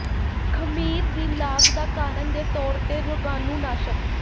ਖਮੀਰ ਦੀ ਲਾਗ ਦਾ ਕਾਰਨ ਦੇ ਤੌਰ ਤੇ ਰੋਗਾਣੂਨਾਸ਼ਕ